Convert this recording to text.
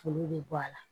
Olu bɛ bɔ a la